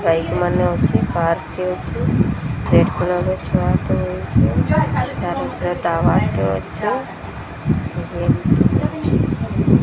ବାଇକି ମାନେ ଅଛି ପାର୍କ ଟିଏ ଅଛି ରେଡ କଲର ର ଛୁଆ ଟେ ବଇଚି ତାରି ଭିତରେ ଟାୱାର ଟେ ଅଛି ।